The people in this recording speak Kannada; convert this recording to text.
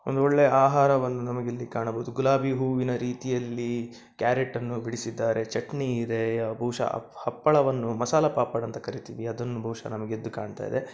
ಒಂದು ಒಳ್ಳೆ ಆಹಾರವನ್ನು ನಮಗೆ ಇಲ್ಲಿ ಕಾಣಬಹುದು. ಗುಲಾಬಿ ಹೂವಿನ ರೀತಿಯಲ್ಲಿ ಕ್ಯಾರಟ್‌ ಅನ್ನು ಬಿಡಿಸಿದ್ದಾರೆ. ಚಟ್ನಿ ಇದೆ ಬಹುಶ ಹ-ಹಪ್ಪಳವನ್ನು ಮಸಾಲೆ ಪಾಪಡ್‌ ಎಂದು ಕರಿತ್ತೀವಿ ಅದು ಬಹುಶ ನಮಗೆ ಎದ್ದು ಕಾಣ್ತಾ ಇದೆ.